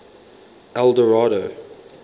eldorado